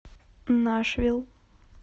нашвилл